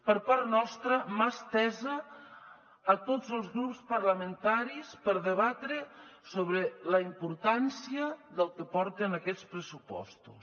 per part nostra mà estesa a tots els grups parlamentaris per debatre sobre la importància del que porten aquests pressupostos